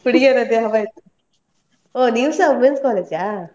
ಹುಡುಗಿಯರದ್ದೇ ಹವಾ ಇತ್ತು. ಓ ನೀವ್ಸ Women's College ಆ?